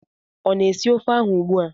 Ọ na-esi ofe ahụ ugbua?